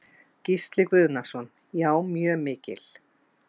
Gísli Guðnason: Já, mjög mikil?